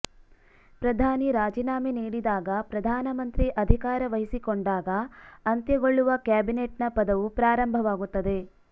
ಪ್ರಧಾನಿ ರಾಜೀನಾಮೆ ನೀಡಿದಾಗ ಪ್ರಧಾನಮಂತ್ರಿ ಅಧಿಕಾರ ವಹಿಸಿಕೊಂಡಾಗ ಅಂತ್ಯಗೊಳ್ಳುವ ಕ್ಯಾಬಿನೆಟ್ನ ಪದವು ಪ್ರಾರಂಭವಾಗುತ್ತದೆ